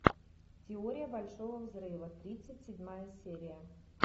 теория большого взрыва тридцать седьмая серия